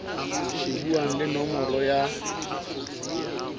shebuwang le nomoro ya ya